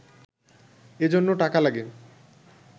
এজন্য টাকা লাগে